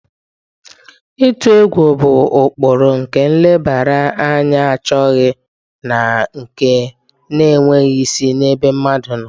Ịtụ egwu bụ ụkpụrụ nke nlebara anya achọghị na nke na-enweghị isi n'ebe mmadụ nọ.